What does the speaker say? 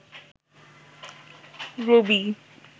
রবি